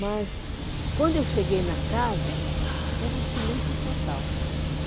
Mas, quando eu cheguei na casa, era um silêncio total.